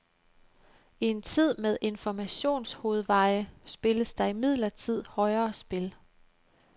I en tid med informationshovedveje spilles der imidlertid højere spil.